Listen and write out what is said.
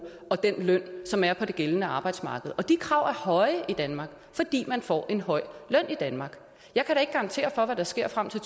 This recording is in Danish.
og den løn som er på det gældende arbejdsmarked og de krav er høje i danmark fordi man får en høj løn i danmark jeg kan da ikke garantere for hvad der sker frem til